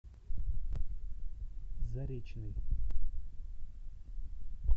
заречный